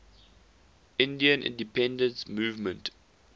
indian independence movement